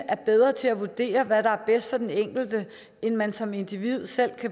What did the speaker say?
er bedre til at vurdere hvad der er bedst for den enkelte end man som individ selv